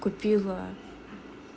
купила